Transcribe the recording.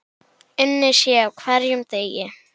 Unnið sé á hverjum degi.